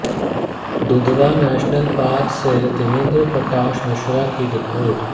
Dudhwa national park से देवेंद्र प्रकाश मिश्रा की report